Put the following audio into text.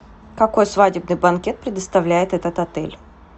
какой свадебный банкет предоставляет этот отель